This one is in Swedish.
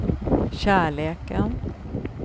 kärleken